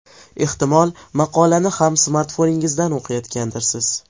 Ehtimol, maqolani ham smartfoningizdan o‘qiyotgandirsiz?